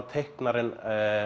teiknarinn